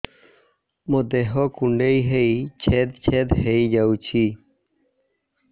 ମୋ ଦେହ କୁଣ୍ଡେଇ ହେଇ ଛେଦ ଛେଦ ହେଇ ଯାଉଛି